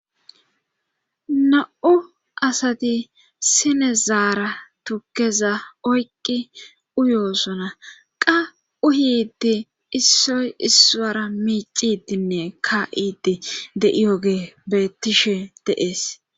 na'u asati sinezaara tukkeza oyqi uyoosona qa uhiddi issoy issaara miicidinne ka'idi de'iyoge bettishe de'ees